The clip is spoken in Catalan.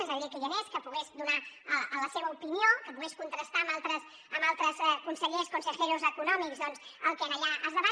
ens agradaria que hi anés que pogués donar la seva opinió que pogués contrastar amb altres consellers consejeros econòmics doncs el que allà es debat